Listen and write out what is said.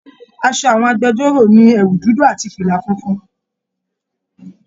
Aṣọ àwọn agbẹ̀jọ́ro ní ẹwù dúdú àti fila fúnfún.